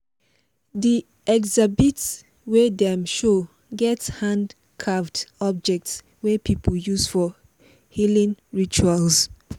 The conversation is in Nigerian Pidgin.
di exhibit wey dem show get hand-carved object wey people use for healing rituals.